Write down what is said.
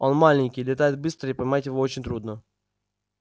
он маленький летает быстро и поймать его очень трудно